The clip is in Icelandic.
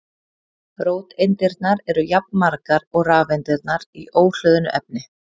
Róteindirnar eru jafnmargar og rafeindirnar í óhlöðnu efni.